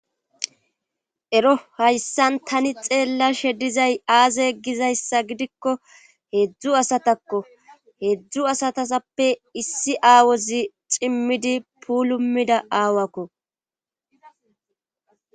Ero hayssan tani tselashe dizay aaze gizasa gidikko heezzu asatakko heezzu asatasappe issi aawozi cimmidi puulumida aawakko.